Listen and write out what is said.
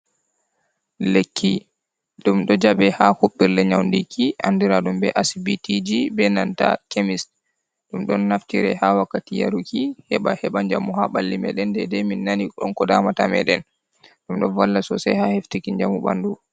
Lekki, ɗum ɗo jaɓe ha hopɓirde nyaundiki andiraɗum be asibti, be nanta kemis, ɗum ɗon naftire ha wakkati yaruki, heɓa heɓa njamu, ha ɓalli meɗen, nden nde min nani ɗon ko damata meɗen, ɗum ɗo valla sosai ha heftiki jamu ɓandu.